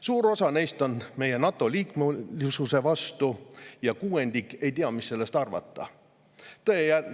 Suur osa neist on meie NATO‑liikmesuse vastu ja kuuendik ei tea, mida sellest arvata.